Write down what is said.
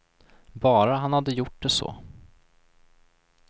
Bara han hade gjort det så.